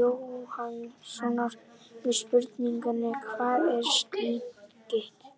Jóhannssonar við spurningunni: Hvað er slitgigt?